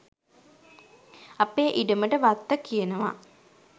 අපේ ඉඩමට වත්ත කියනවා.